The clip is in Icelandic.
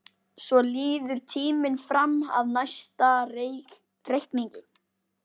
Svo líður tíminn fram að næsta reikningi.